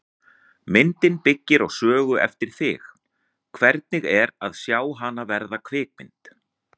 Myndin byggir á sögu eftir þig, hvernig er að sjá hana verða kvikmynd?